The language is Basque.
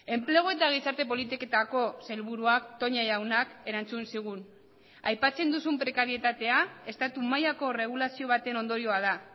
enplegu eta gizarte politiketako sailburuak toña jaunak erantzun zigun aipatzen duzun prekarietatea estatu mailako erregulazio baten ondorioa da